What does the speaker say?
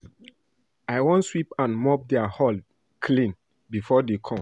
I wan sweep and mop their hall clean before dey come